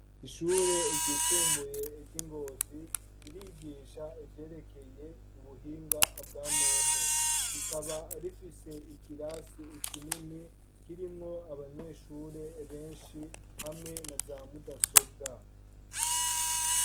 Ishure ryisumbuye ry'i Ngozi ririgisha ivyerekeye ubuhinga bwa none, rikaba rifise ikirasi kinini kirimwo abanyeshure benshi hamwe na za mudasobwa.